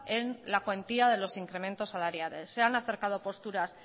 en la cuantía de los incrementos salariales se han acercado posturas